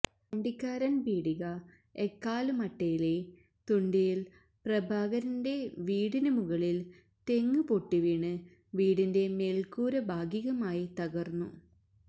വണ്ടിക്കാരന് പീടിക എക്കാല് മട്ടയിലെ തുണ്ടിയില് പ്രഭാകരന്റെ വീടിന് മുകളില് തെങ്ങ് പൊട്ടിവീണ് വീടിന്റെ മേല്ക്കൂര ഭാഗികമായി തകര്ന്നു